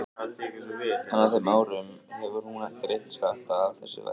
En á þeim árum hefur hún greitt skatta af þessu verki.